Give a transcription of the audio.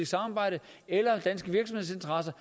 samarbejde eller danske virksomhedsinteresser